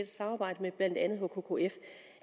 samarbejde med blandt andet hkkf